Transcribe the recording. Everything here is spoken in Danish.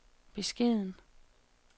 beskeden